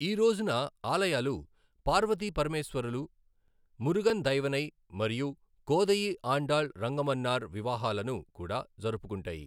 ఈ రోజున ఆలయాలు పార్వతి పరమేశ్వరలు, మురుగన్ దైవనై, మరియు కోదయి ఆండాళ్ రంగమన్నార్ వివాహాలను కూడా జరుపుకుంటాయి.